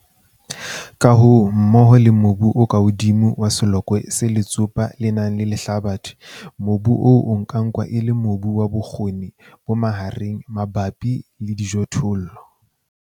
Ka hoo, mmoho le mobu o ka hodimo wa selokwe se letsopa le nang le lehlabathe, mobu o ka nkuwa e le mobu wa bokgoni bo mahareng mabapi le dijothollo.